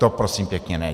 To prosím pěkně ne.